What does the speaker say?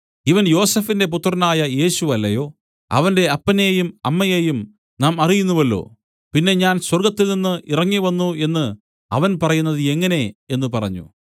ഇവൻ യോസഫിന്റെ പുത്രനായ യേശു അല്ലയോ അവന്റെ അപ്പനെയും അമ്മയെയും നാം അറിയുന്നുവല്ലോ പിന്നെ ഞാൻ സ്വർഗ്ഗത്തിൽനിന്ന് ഇറങ്ങിവന്നു എന്നു അവൻ പറയുന്നത് എങ്ങനെ എന്നു അവർ പറഞ്ഞു